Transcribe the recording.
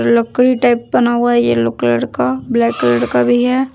लकड़ी टाइप बना हुआ येलो कलर का ब्लैक कलर का भी है।